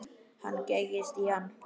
Hann gægist í hann.